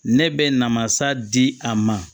Ne bɛ na masa di a ma